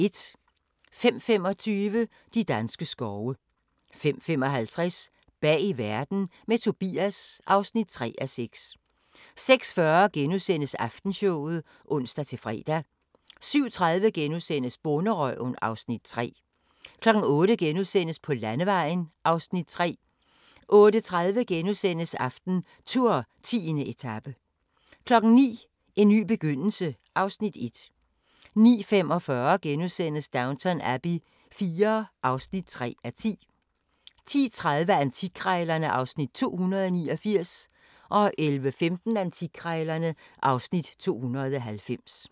05:25: De danske skove 05:55: Bag Verden – med Tobias (3:6) 06:40: Aftenshowet *(ons-fre) 07:30: Bonderøven (Afs. 3)* 08:00: På landevejen (Afs. 3)* 08:30: AftenTour: 10. etape * 09:00: En ny begyndelse (Afs. 1) 09:45: Downton Abbey IV (3:10)* 10:30: Antikkrejlerne (Afs. 289) 11:15: Antikkrejlerne (Afs. 290)